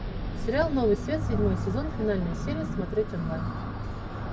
сериал новый свет седьмой сезон финальная серия смотреть онлайн